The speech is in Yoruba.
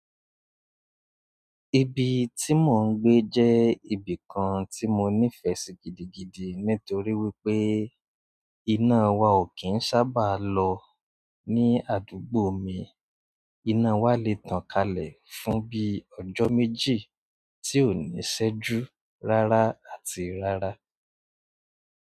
Ibi tí mò ń gbé jẹ́ ibi kan tí mo nífẹ̀ẹ́ sí gidigidi nítorí wípé iná wa ò kí ń sábà lọ ní àdúgbò mi. Iná wa lè tàn kálẹ̀ fún bí i ọjọ́ méjì tí ò ní ṣẹ́jú rárá àti rárá.